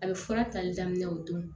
A bɛ fura tali daminɛ o don